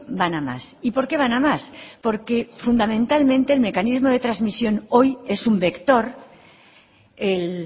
van a más y por qué van a más porque fundamentalmente el mecanismo de transmisión hoy es un vector el